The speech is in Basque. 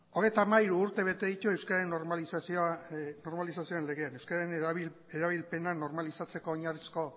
hogeita hamairu urte bete ditu euskararen normalizazioaren legeak euskararen erabilpena normalizatzeko oinarrizko